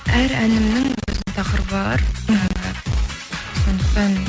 әр әнімнің өзінің тақырыбы бар мхм ы сондықтан